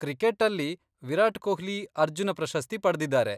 ಕ್ರಿಕೆಟ್ಟಲ್ಲಿ ವಿರಾಟ್ ಕೊಹ್ಲಿ ಅರ್ಜುನ ಪ್ರಶಸ್ತಿ ಪಡ್ದಿದಾರೆ.